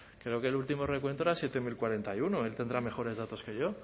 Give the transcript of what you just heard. creo que el último recuento eran siete mil cuarenta y uno él tendrá mejores datos que yo